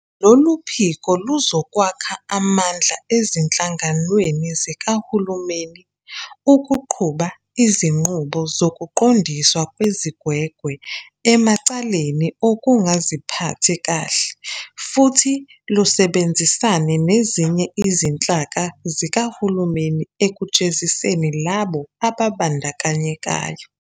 Lolu phiko luzokwakha amandla ezinhlanganweni zikahulumeni ukuqhuba izinqubo zokuqondiswa kwezigwegwe emacaleni okungaziphathi kahle futhi lusebenzisane nezinye izinhlaka zikahulumeni ekujeziseni labo ababandakanyekayo.